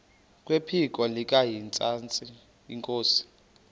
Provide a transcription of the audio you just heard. kwephiko likahintsathi inkosi